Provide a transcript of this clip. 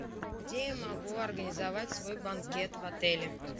где я могу организовать свой банкет в отеле